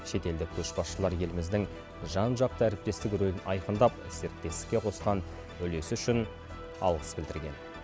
шетелдік көшбасшылар еліміздің жан жақты әріптестік рөлін айқындап серіктестікке қосқан үлесі үшін алғыс білдірген